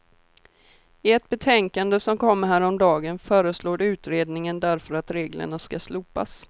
I ett betänkande som kom häromdagen föreslår utredningen därför att reglerna skall slopas.